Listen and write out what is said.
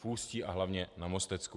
V Ústí a hlavně na Mostecku.